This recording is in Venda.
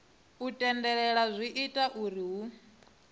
tendelela zwi ita zwauri hu